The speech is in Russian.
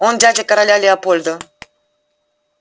он дядя короля леопольда